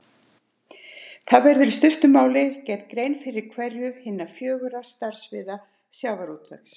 Þá verður í stuttu máli gerð grein fyrir hverju hinna fjögurra starfssviða sjávarútvegs.